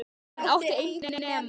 Hann átti enginn nema